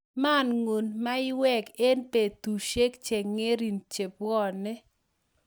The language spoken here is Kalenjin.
mangu mauwek eng betushiek chengering chebwone